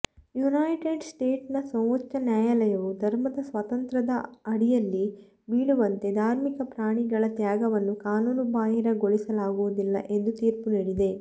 United ಸ್ಟೇಟ್ಸ್ನ ಸರ್ವೋಚ್ಛ ನ್ಯಾಯಾಲಯವು ಧರ್ಮದ ಸ್ವಾತಂತ್ರ್ಯದ ಅಡಿಯಲ್ಲಿ ಬೀಳುವಂತೆ ಧಾರ್ಮಿಕ ಪ್ರಾಣಿಗಳ ತ್ಯಾಗವನ್ನು ಕಾನೂನುಬಾಹಿರಗೊಳಿಸಲಾಗುವುದಿಲ್ಲ ಎಂದು ತೀರ್ಪು ನೀಡಿದೆ